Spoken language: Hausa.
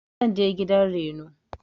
zanje gidan Reno.